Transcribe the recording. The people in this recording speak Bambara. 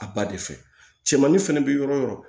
A ba de fɛ cɛmani fɛnɛ bɛ yɔrɔ o yɔrɔ